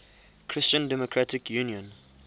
christian democratic union